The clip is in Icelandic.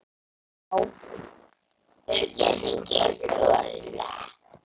Já eða ég hringi í Lúlla.